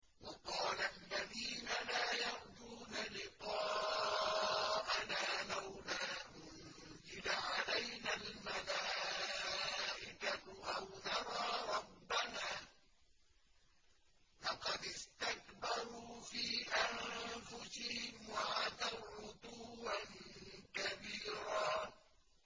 ۞ وَقَالَ الَّذِينَ لَا يَرْجُونَ لِقَاءَنَا لَوْلَا أُنزِلَ عَلَيْنَا الْمَلَائِكَةُ أَوْ نَرَىٰ رَبَّنَا ۗ لَقَدِ اسْتَكْبَرُوا فِي أَنفُسِهِمْ وَعَتَوْا عُتُوًّا كَبِيرًا